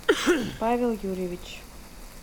павел юрьевич